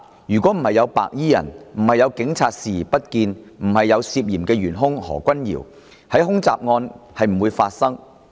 如果沒有白衣人，沒有警察視而不見，沒有嫌疑元兇何君堯議員，恐襲案便不會發生。